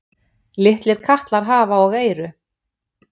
Litlir katlar hafa og eyru.